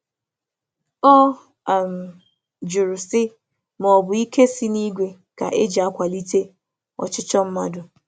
Ọ jụrụ ajụjụ ma ike ime mmụọ ka ime mmụọ ka e ji aga ebumnobi onwe onye.